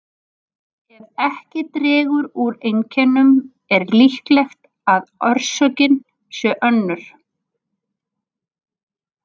Ef ekki dregur úr einkennum er líklegt að orsökin sé önnur.